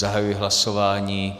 Zahajuji hlasování.